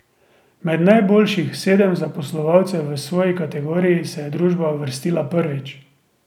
Med najboljših sedem zaposlovalcev v svoji kategoriji se je družba uvrstila prvič.